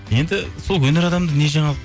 енді сол өнер адамда не жаңалық